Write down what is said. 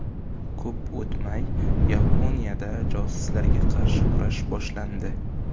Ko‘p o‘tmay, Yaponiyada josuslarga qarshi kurash boshlandi.